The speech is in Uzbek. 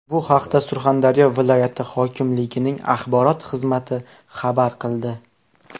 Bu haqda Surxondaryo viloyati hokimligining axborot xizmati xabar qildi .